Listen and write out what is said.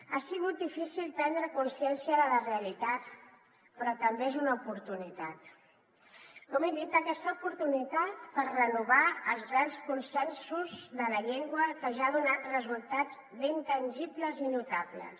ha sigut difícil prendre consciència de la realitat però també és una oportunitat com he dit aquesta oportunitat per renovar els grans consensos de la llengua que ja ha donat resultats ben tangibles i notables